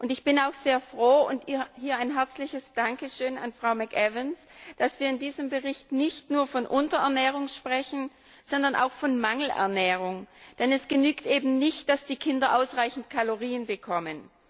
Ich bin auch sehr froh darüber hier ein herzliches Dankeschön an Frau McAvan dass wir in diesem Bericht nicht nur von Unterernährung sprechen, sondern auch von Mangelernährung, denn es genügt eben nicht, dass die Kinder ausreichend Kalorien bekommen.